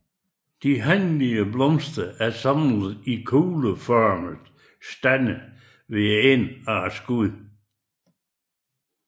De hanlige blomster er samlet i kugleformede stande ved enden af skuddene